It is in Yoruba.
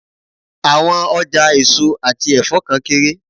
Àwọn ọjà èso àti ẹ̀fọ́ kan kéré.